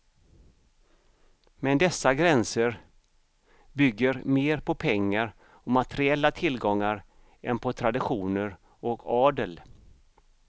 Men dessa gränser bygger mer på pengar och materiella tillgångar än på traditioner och adel.